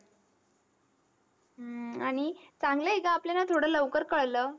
हम्म आणि चांगलं आहे गं, आपल्याला थोडं लवकर कळलं.